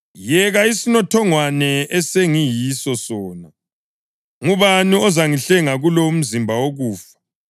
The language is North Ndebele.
Yeka isinothongwana esengiyiso sona. Ngubani ozangihlenga kulo umzimba wokufa?